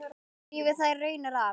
Lifði þær raunir af.